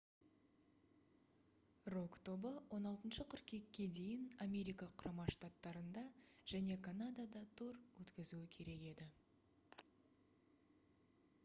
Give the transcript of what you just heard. рок тобы 16 қыркүйекке дейін америка құрама штаттарында және канадада тур өткізуі керек еді